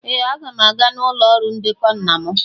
Ee! Aga m aga n'ụlọ ọrụ ndekọ nna m.